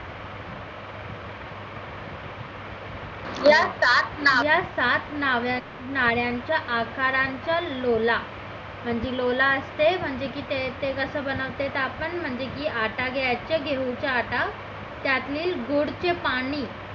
या सात नळ्यांच्या आकाराच्या लोला म्हणजे लोला असते म्हणजे की ते कसं बनवते आपण म्हणजे की आटा घ्यायचा घेऊ चा आटा त्यातील गुळ चे पाणी